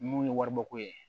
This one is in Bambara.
Mun ye waribɔko ye